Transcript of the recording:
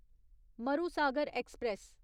Marusagar express